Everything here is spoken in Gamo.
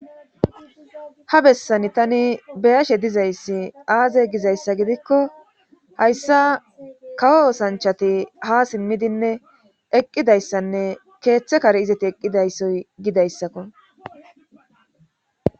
Ha bessani tani beyashe dizayssi aaze gizayssa gidikko hayssa kawo osanchati ha simmidinne eqqidayssanne keeththe kare izati eqqidayssoy gidayssakko